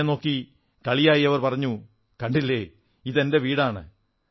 എന്നെ നോക്കി കളിയായി പറഞ്ഞു കണ്ടില്ലേ ഇത് എന്റെ വീടാണ്